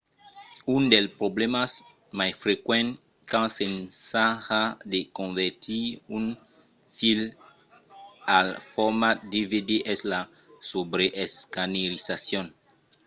un dels problèmas mai frequents quand s'ensaja de convertir un film al format dvd es la subreescanerizacion